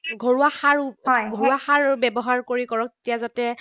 ঘৰুৱা সাৰ, হয়, ঘৰুৱা সাৰ ব্যৱহাৰ কৰি কৰক, তেতিয়া যাতে